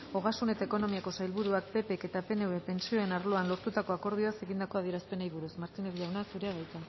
ogasun eta ekonomiako sailburuak ppk eta pnvk pentsioen arloan lortutako akordioaz egindako adierazpenei buruz martínez jauna zurea da hitza